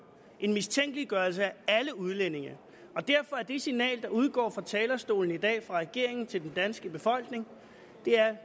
en mistænkeliggørelse af alle udlændinge derfor er det signal der udgår fra talerstolen i dag fra regeringen til den danske befolkning